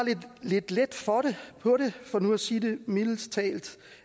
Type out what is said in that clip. lidt let på det for nu at sige det mildt